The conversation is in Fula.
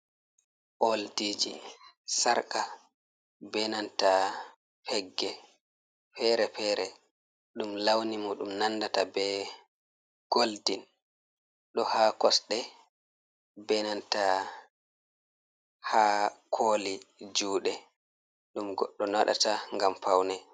Oldiji sarka benanta pegge pere pere, ɗum lawni mu ɗum nandata be goldin, ɗo ha kosɗe benanta ha koli juɗe. ɗum godɗo naɗata ngam paune.